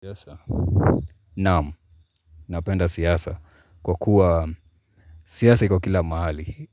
Siasa, naam, napenda siasa kwa kuwa siasa kwa kila mahali,